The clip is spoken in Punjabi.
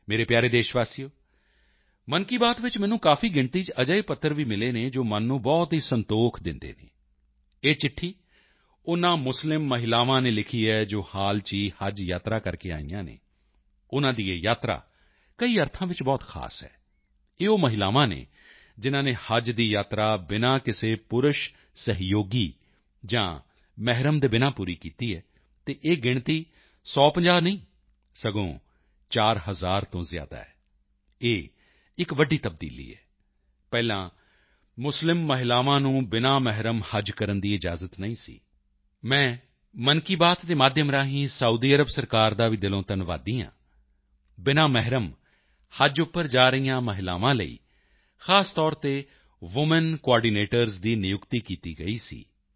ਮੇਰੇ ਪਿਆਰੇ ਦੇਸ਼ਵਾਸੀਓ ਮਨ ਕੀ ਬਾਤ ਵਿੱਚ ਮੈਨੂੰ ਕਾਫੀ ਗਿਣਤੀ ਚ ਅਜਿਹੇ ਪੱਤਰ ਵੀ ਮਿਲੇ ਹਨ ਜੋ ਮਨ ਨੂੰ ਬਹੁਤ ਹੀ ਸੰਤੋਖ ਦਿੰਦੇ ਹਨ ਇਹ ਚਿੱਠੀ ਉਨ੍ਹਾਂ ਮੁਸਲਿਮ ਮਹਿਲਾਵਾਂ ਨੇ ਲਿਖੀ ਹੈ ਜੋ ਹਾਲ ਹੀ ਚ ਹੱਜ ਯਾਤਰਾ ਕਰਕੇ ਆਈਆਂ ਹਨ ਉਨ੍ਹਾਂ ਦੀ ਇਹ ਯਾਤਰਾ ਕਈ ਅਰਥਾਂ ਵਿੱਚ ਬਹੁਤ ਖਾਸ ਹੈ ਇਹ ਉਹ ਮਹਿਲਾਵਾਂ ਹਨ ਜਿਨ੍ਹਾਂ ਨੇ ਹੱਜ ਦੀ ਯਾਤਰਾ ਬਿਨਾ ਕਿਸੇ ਪੁਰਸ਼ ਸਹਿਯੋਗੀ ਜਾਂ ਮਹਿਰਮ ਦੇ ਬਿਨਾ ਪੂਰੀ ਕੀਤੀ ਹੈ ਅਤੇ ਇਹ ਗਿਣਤੀ 10050 ਨਹੀਂ ਸਗੋਂ 4 ਹਜ਼ਾਰ ਤੋਂ ਜ਼ਿਆਦਾ ਹੈ ਇਹ ਇੱਕ ਵੱਡੀ ਤਬਦੀਲੀ ਹੈ ਪਹਿਲਾਂ ਮੁਸਲਿਮ ਮਹਿਲਾਵਾਂ ਨੂੰ ਬਿਨਾ ਮਹਿਰਮ ਹੱਜ ਕਰਨ ਦੀ ਇਜਾਜ਼ਤ ਨਹੀਂ ਸੀ ਮੈਂ ਮਨ ਕੀ ਬਾਤ ਦੇ ਮਾਧਿਅਮ ਰਾਹੀਂ ਸਾਊਦੀ ਅਰਬ ਸਰਕਾਰ ਦਾ ਵੀ ਦਿਲੋਂ ਧੰਨਵਾਦੀ ਹਾਂ ਬਿਨਾ ਮਹਿਰਮ ਹੱਜ ਉੱਪਰ ਜਾ ਰਹੀਆਂ ਮਹਿਲਾਵਾਂ ਲਈ ਖਾਸ ਤੌਰ ਤੇ ਵੁਮੈਨ ਕੁਆਰਡੀਨੇਟਰਸ ਦੀ ਨਿਯੁਕਤੀ ਕੀਤੀ ਗਈ ਸੀ